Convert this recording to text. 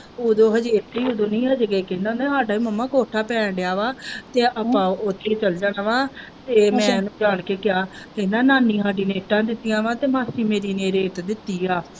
ਉਦੋਂ ਸਾਡਾ ਹੀ ਮੰਮਾ ਕੋਠਾ ਪੈਣ ਦਿਆ ਵਾ ਤੇ ਆਪਾਂ ਉੱਥੇ ਚੱਲ ਜਾਣਾ ਵਾ ਇਹ ਮੈਂ ਜਾਨ ਕੇ ਕਿਹਾ ਕਹਿੰਦਾ ਮਾਮੀ ਸਾਡੀ ਤੇ ਇੱਟਾਂ ਦਿੱਤੀਆਂਂ ਵਾ ਤੇ ਮਾਸੀ ਮੇਰੀ ਨੇ ਰੇਤ ਦਿੱਤੀ ਆ।